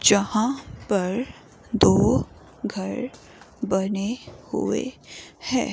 यहां पर दो घर बने हुए हैं।